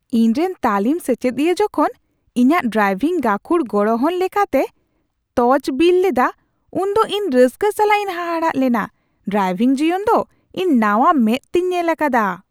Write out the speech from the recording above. ᱤᱧᱨᱮᱱ ᱛᱟᱹᱞᱤᱢ ᱥᱮᱪᱮᱫᱤᱭᱟᱹ ᱡᱚᱠᱷᱚᱱ ᱤᱧᱟᱹᱜ ᱰᱨᱟᱭᱵᱷᱤᱝ ᱜᱟᱹᱠᱷᱩᱲ ᱜᱚᱲᱦᱚᱱ ᱞᱮᱠᱟᱛᱮ ᱛᱚᱡᱼᱵᱤᱞ ᱞᱮᱫᱟ ᱩᱱ ᱫᱚ ᱤᱧ ᱨᱟᱹᱥᱠᱟᱹ ᱥᱟᱞᱟᱜ ᱤᱧ ᱦᱟᱦᱟᱲᱟᱜ ᱞᱮᱱᱟ ᱾ ᱰᱨᱟᱭᱵᱷᱤᱝ ᱡᱤᱭᱚᱱ ᱫᱚ ᱤᱧ ᱱᱟᱣᱟ ᱢᱮᱫ ᱛᱤᱧ ᱧᱮᱞ ᱟᱠᱟᱫᱟ ᱾